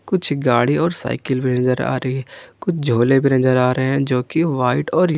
कुछ गाड़ी और साइकिल में नजर आ रही है कुछ झोले भी नजर आ रहे हैं जो कि व्हाइट और--